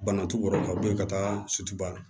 Bana t'u kɔrɔ ka bɔ ye ka taa sutura